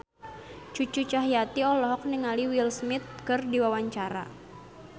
Cucu Cahyati olohok ningali Will Smith keur diwawancara